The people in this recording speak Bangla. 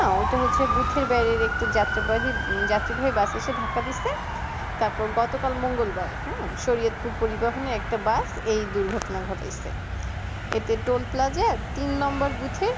ওটা হচ্ছে booth এর বাহির একটি যাত্রা বাহি যাত্রী বাহি বাস এসে ধাক্কা দিচ্ছে তারপর গতকাল মঙ্গোল বার হ্যাঁ সায়েদপুর পরিবহনে একটা বাস এই দুর্ঘটনা ঘটাইছে এতে toll plaza আর তিন নম্বর booth এ না